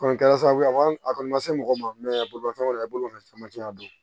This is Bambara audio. Kɔni kɛra sababu ye a kɔni ma se mɔgɔ ma bolimafɛn kɔni i bolofɛn caman tɛ yan don